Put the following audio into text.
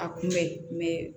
A kun bɛ yen